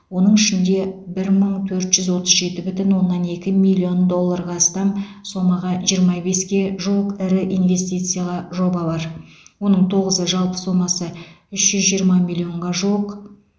оның ішінде бір мың төрт жүз отыз жеті бүтін оннан екі миллион долларға астам сомаға жиырма беске жуық ірі инвестициялы жоба бар оның тоғызы жалпы сомасы үш жүз жиырма миллионға жуық